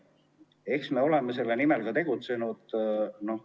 Eks me oleme selle nimel ka tegutsenud.